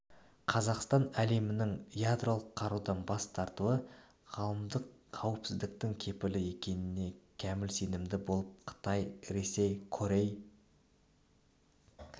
қазақстан әлемнің ядролық қарудан бас тартуы ғаламдық қауіпсіздіктің кепілі екеніне кәміл сенімді болып қытай ресей корей